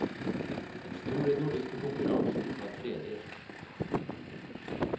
Den store nordiske konkurransen var tredelt.